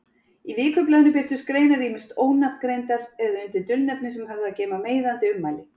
Í vikublaðinu birtust greinar ýmist ónafngreindar eða undir dulnefni sem höfðu að geyma meiðandi ummæli.